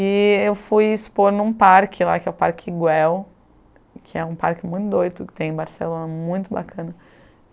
E eu fui expor em um parque lá, que é o Parque Iguel, que é um parque muito doido que tem em Barcelona, muito bacana.